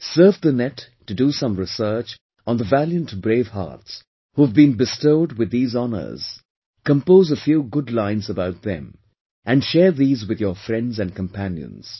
Surf the Net to do some research on the valiant bravehearts, who have been bestowed with these honours, compose a few good lines about them and share these with your friends and companions